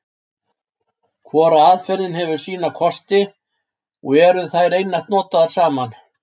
Hvor aðferðin hefur sína kosti, og eru þær einatt notaðar saman.